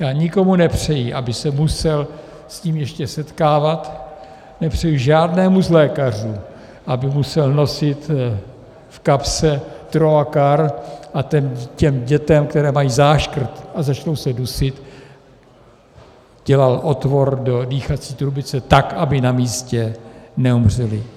Já nikomu nepřeji, aby se musel s tím ještě setkávat, nepřeji žádnému z lékařů, aby musel nosit v kapse troakar a těm dětem, které mají záškrt a začnou se dusit, dělal otvor do dýchací trubice, tak aby na místě neumřely.